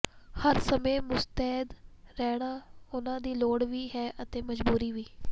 ਹਰ ਸਮੇਂ ਮੁਸਤੈਦ ਰਹਿਣਾ ਉਨ੍ਹਾਂ ਦੀ ਲੋੜ ਵੀ ਹੈ ਅਤੇ ਮਜਬੂਰੀ ਵੀ